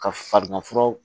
Ka farigan furaw